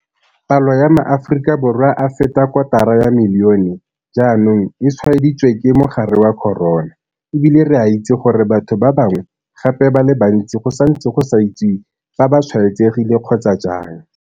Palo ya maAforika Borwa a feta kotara ya milione jaanong e tshwaeditswe ke mogare wa corona, e bile re a itse gore batho ba bangwe gape ba le bantsi go santse go sa itsiwe fa ba tshwaetsegile kgotsa jang.